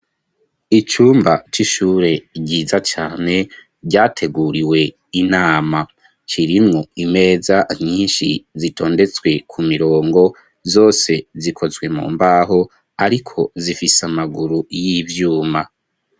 Icumba c'ishure, ryiza cane, ryateguriwe inama; kirimwo imeza nyinshi, zitondetswe ku mirongo; zose, zikozwe mu mbaho, ariko, zifise amaguru, y'ivyuma.